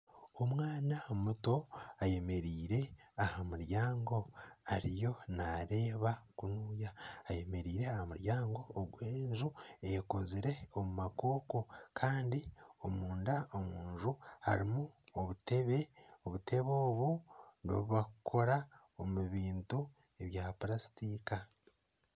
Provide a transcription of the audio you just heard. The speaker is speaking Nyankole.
Omwana muto ayemereire aha muryango ariyo naareeba kunuya, eyemereire aha muryango ogw'enju ekozire omu makoko kandi omunda harimu obutebe, obutebe obu n'obu barikukora omu bintu ebya purasitika